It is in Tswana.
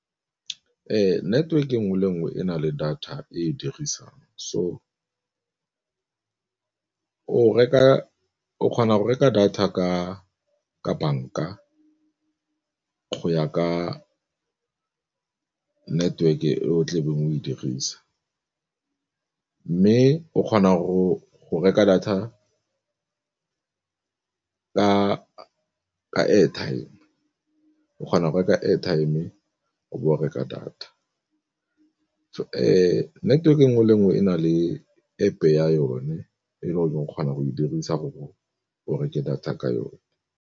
Ee, network e nngwe le nngwe e na le data e dirisang so o kgona go reka data ka banka go ya ka network-e e o tlabeng o e dirisa. Mme o kgona go reka data ka airtime, o kgona go reka airtime o bo o reka data. Network e nngwe le nngwe e na le App ya yone e le gore o kgona go e dirisa gore o reke data ka yone.